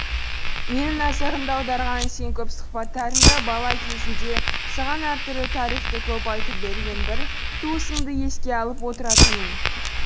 менің назарымды аударғаны сен көп сұхбаттарыңда бала кезіңде саған әртүрлі тарихты көп айтып берген бір туысыңды еске алып отыратының